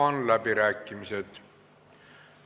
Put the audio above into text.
Avan läbirääkimised.